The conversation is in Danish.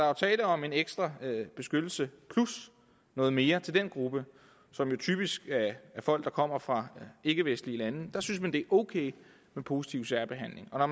jo tale om en ekstra beskyttelse plus noget mere til den gruppe som jo typisk er folk der kommer fra ikkevestlige lande der synes man at det er ok med positiv særbehandling og når